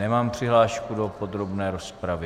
Nemám přihlášku do podrobné rozpravy.